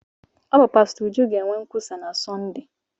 Ọ bụ pastọ Uju ga-eme nkwusa na Sọnde.